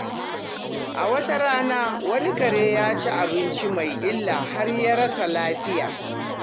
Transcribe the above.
A wata rana, wani kare ya ci abinci mai illa har ya rasa lafiya.